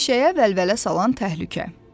Meşəyə vəlvələ salan təhlükə.